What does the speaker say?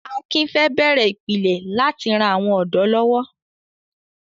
Akin fẹ́ bẹ̀rẹ̀ ìpìlẹ̀ láti ran àwọn ọ̀dọ́ lọ́wọ́.